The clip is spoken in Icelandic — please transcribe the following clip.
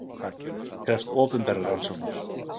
Krefst opinberrar rannsóknar